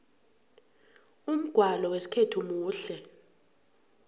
umgwalo wesikhethu muhle